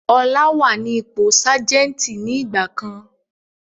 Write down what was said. Ọlá wá ní ipò Sajẹ́ntí ni ìgbàkan.